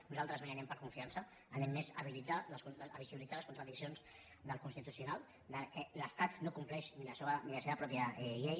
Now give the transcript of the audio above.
nosaltres no hi anem per confiança anem més a visibilitzar les contradiccions del constitucional que l’estat no compleix ni la seva pròpia llei